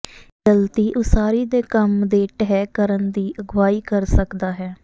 ਗਲਤੀ ਉਸਾਰੀ ਦੇ ਕੰਮ ਦੇ ਢਹਿ ਕਰਨ ਦੀ ਅਗਵਾਈ ਕਰ ਸਕਦਾ ਹੈ